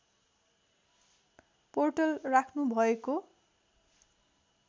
portal राख्नुभएको